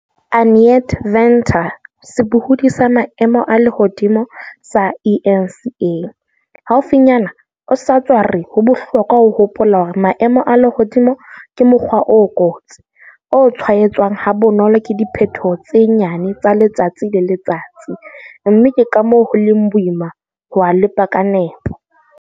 Annette Venter, sebohodi sa maemo a lehodimo sa eNCA, haufinyana o sa tswa re ho bohlokwa ho hopola hore maemo a lehodimo ke mokgwa o kotsi, o tshwaetswang ha bonolo ke diphetoho tse nyane tsa letsatsi le letsatsi, mme ke ka moo ho leng boima ho a lepa ka nepo.